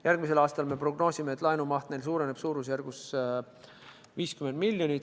Järgmisel aastal me prognoosime, et laenumaht neil suureneb suurusjärgus 50 miljonit.